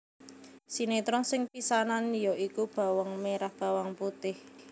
Sinetron sing pisanan ya iku Bawang Merah Bawang Putih